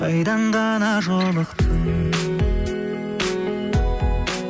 қайдан ғана жолықтың